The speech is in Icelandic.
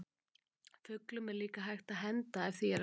Fuglum er líka hægt að henda ef því er að skipta.